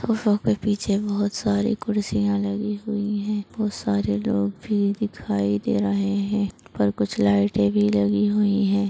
सोफो के पीछे बहुत सारी कुर्सिया लगी हुई है बहुत सारे लोग भी दिखाई दे रहे है ऊपर कुछ लाइटे भी लगी हुई है ।